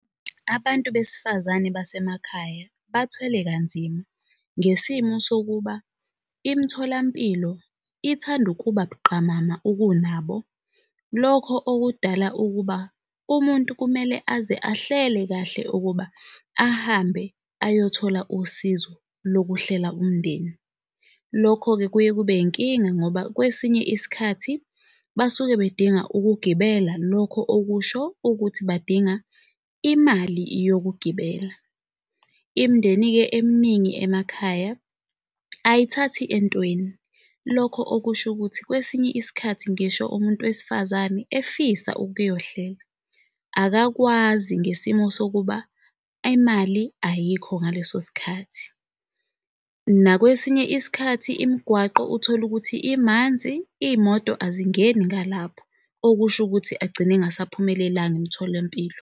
Abantu besifazane basemakhaya bathwele kanzima ngesimo sokuba imitholampilo ithanda ukuba buqamama ukunabo, lokho okudala ukuba umuntu kumele aze ahlele kahle ukuba ahambe ayothola usizo lokuhlela umndeni. Lokho-ke kuye kube yinkinga ngoba kwesinye isikhathi basuke bedinga ukugibela, lokho okusho ukuthi badinga imali yokugibela. imindeni-ke eminingi emakhaya ayithathi entweni. Lokho okusho ukuthi, kwesinye isikhathi ngisho umuntu wesifazane efisa ukuyohlela, akakwazi ngesimo sokuba imali ayikho ngalesosikhathi. Nakwesinye isikhathi imigwaqo uthole ukuthi amanzi iy'moto azingeni ngalapho, okusho ukuthi agcine engaphumelelanga emtholampilo.